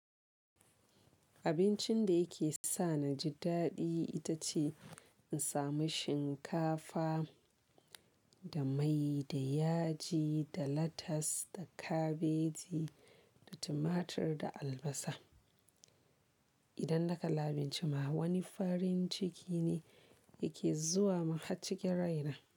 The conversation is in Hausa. Abincin da yake sa na ji daɗi ita ce in sami shinkafa da mai da yaji da latas da kabeji da tumatur da albasa. Idan naƙala abinci ma wani farin ciki ne yake zuwa maharcikin raina.